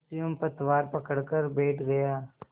और स्वयं पतवार पकड़कर बैठ गया